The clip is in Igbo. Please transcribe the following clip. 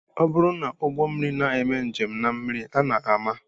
Ọ bụrụ na ụgbọmmiri na-eme njem na mmiri a na-ama